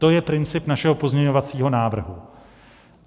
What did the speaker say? To je princip našeho pozměňovacího návrhu.